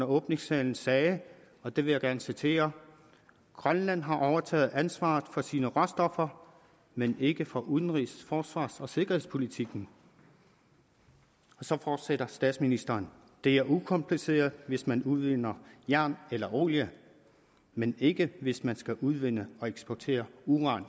åbningstalen sagde og det vil jeg gerne citere at grønland har overtaget ansvaret for sine egne råstoffer men ikke for udenrigs forsvars og sikkerhedspolitikken og så fortsætter statsministeren det er ukompliceret hvis man udvinder jern eller olie men ikke hvis man skal udvinde og eksportere uran